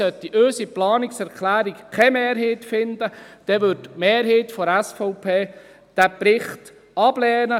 Sollte unsere Planungserklärung keine Mehrheit finden, dann wird die Mehrheit der SVP diesen Bericht ablehnen.